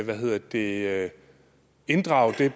hvad hedder det at inddrage det